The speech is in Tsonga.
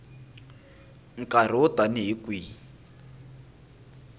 nkarhi wo tani hi kwihi